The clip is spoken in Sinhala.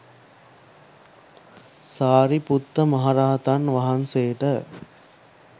සාරිපුත්ත මහරහතන් වහන්සේට